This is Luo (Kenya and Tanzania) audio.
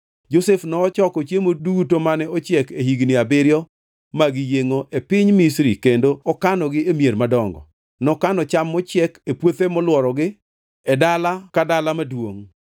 Josef nochoko chiemo duto mane ochiek e higni abiriyo mag yiengʼo e piny Misri kendo okanogi e mier madongo. Nokano cham mochiek e puothe molworogi e dala ka dala maduongʼ.